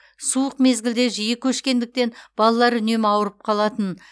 суық мезгілде жиі көшкендіктен балалар үнемі ауырып қалатын